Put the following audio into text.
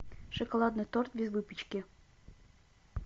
шоколадный торт без выпечки